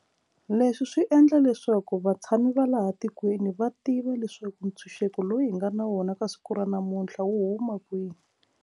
Leswi swi endla leswaku vatshami va laha tikweni va tiva leswaku ntshunxeko lowu hi nga na wona ka siku ra namuntlha wu huma kwihi.